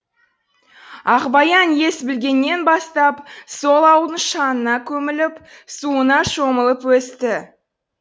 ақбаян ес білгеннен бастап сол ауылдың шаңына көміліп суына шомылып өсті